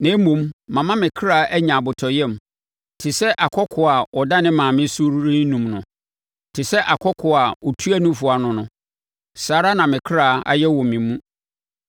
Na mmom, mama me kra anya abotɔyam te sɛ akɔkoaa a ɔda ne maame so renum no, te sɛ akɔkoaa a ɔtua nufoɔ ano no, saa ara na me kra ayɛ wɔ me mu.